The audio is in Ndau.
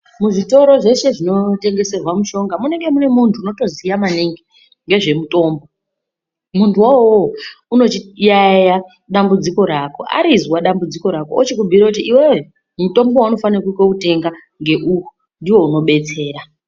Muzvitoro zveshe zvinotengeserwa mushonga munenge mune muntu unotoziya maningi nezvemutombo. Muntu wowowo unochiyaiya dambudziko rako arizwa dambudziko rako ochikubhuira kuti iwewe mutombo vaunofanika kotenga ngeuyu ndivo unobetsera.